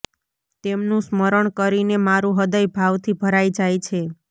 તેમનું સ્મરણ કરીને મારું હૃદય ભાવથી ભરાઈ જાય છે